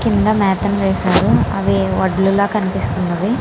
కింద మెతను వేశారు అవి వడ్లు లాగా కనిపిస్తున్నవి.